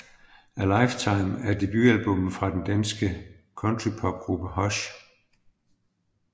A Lifetime er debutalbummet fra den dansk countrpopgruppe Hush